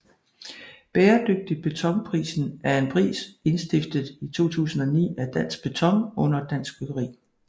Bæredygtig Beton Prisen er en pris indstiftet 2009 af Dansk Beton under Dansk Byggeri